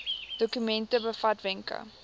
dokument bevat wenke